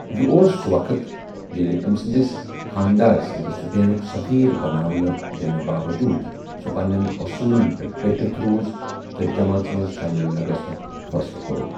یہِ اوس سُہ وقٕت ییٚلہِ، أمہِ سُندِس خانٛدار سٕندِ سٕپینُک سٔفیٖر بناونہٕ یِنہٕ باوجوٗد سۄ پنٛنیٚن اوصوُٖلن پیٚٹھ ڈٔٹِتھ روُز تہٕ جمٲژ منز شٲمَل نہٕ گژھنٗك فٲصلہٕ كو٘رٗن ۔